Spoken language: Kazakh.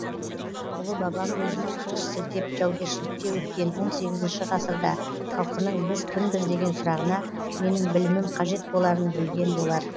ұлы бабам өзінің қылыш сілтеп жаугершілікте өткен он сегізінші ғасырда халқының біз кімбіз деген сұрағына менің білімім қажет боларын білген болар